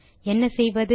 என்ன செய்வது